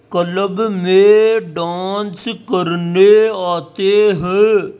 Club में dance करने आते हैं।